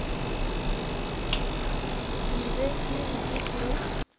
ke be ke ntše ke